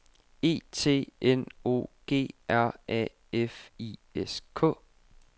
E T N O G R A F I S K